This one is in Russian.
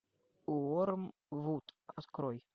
уоррен вуд открой